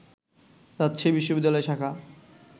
রাজশাহী বিশ্ববিদ্যালয় শাখা